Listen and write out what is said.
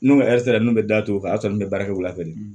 N'o sera ne bɛ datugu o kan o y'a sɔrɔ ne bɛ baara kɛ wula fɛ de